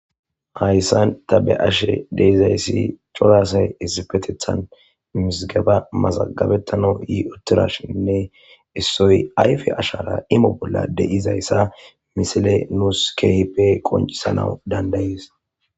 Hayssan ta be7ashe dizayssi cora asay issippeththetan mizggaba mazagabetanaw yi uttirashinne issoy ayfe ashara imo bolla de7izayssa misile nus keehipe qonccisanaw danda7ees.